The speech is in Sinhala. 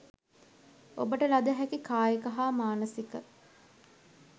ඔබට ලද හැකි කායික හා මානසික